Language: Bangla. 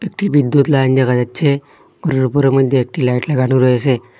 একটি বিদ্যুৎ লাইন দেখা যাচ্ছে ঘরের উপরের মদ্যে একটি লাইট লাগানো রয়েসে।